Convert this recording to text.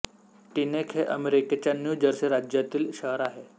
Teaneck हे अमेरिकेच्या New Jersey राज्यातील शहर आहे